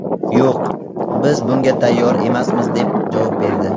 Yo‘q, biz bunga tayyor emasmiz, deb javob berdi.